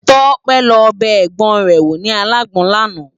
Tope lò bè ègbòn è wó ni àlágbòn làná